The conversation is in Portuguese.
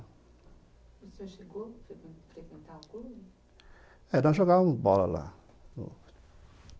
O senhor chegou a frequentar o clube? É, nós jogávamos bola lá